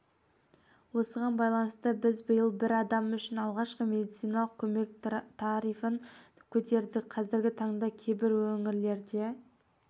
осыған байланысты біз биыл бір адам үшін алғашқы медициналық көмек тарифін көтердік қазіргі таңда кейбір өңірлерде